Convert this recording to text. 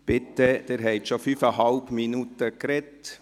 Bitte – Sie haben schon fünfeinhalb Minuten gesprochen.